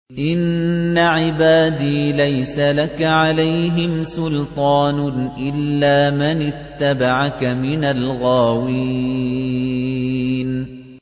إِنَّ عِبَادِي لَيْسَ لَكَ عَلَيْهِمْ سُلْطَانٌ إِلَّا مَنِ اتَّبَعَكَ مِنَ الْغَاوِينَ